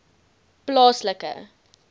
plaaslike